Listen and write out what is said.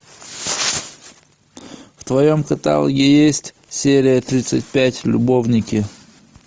в твоем каталоге есть серия тридцать пять любовники